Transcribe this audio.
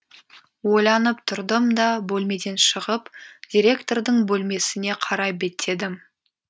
ойланып тұрдым да бөлмеден шығып директордың бөлмесіне қарай беттедім